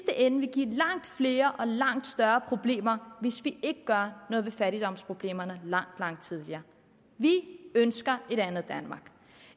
ende vil give langt flere og langt større problemer hvis vi ikke gør noget ved fattigdomsproblemerne langt langt tidligere vi ønsker et andet danmark